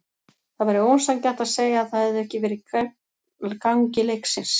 Það væri ósanngjarnt að segja að það hefði ekki verið gegn gangi leiksins.